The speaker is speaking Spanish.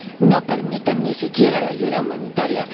No permiten ni siquiera la ayuda humanitaria.